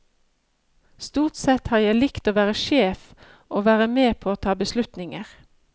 Stort sett har jeg likt å være sjef, å være med på å ta beslutninger.